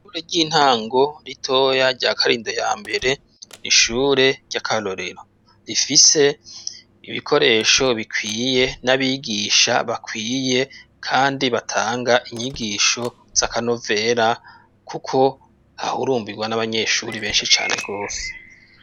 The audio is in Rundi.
Ishure ry'intango ritoya rya Karindo ya mbere, ni ishure ry' akarorero. Rifise ibikoresho bikwiye, n'abigisha bakwiye, kandi batanga inyigisho z' akanovera kuko hahurumbirwa n'abanyeshuri benshi cane rwose.